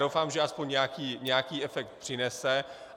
Doufám, že alespoň nějaký efekt přinese.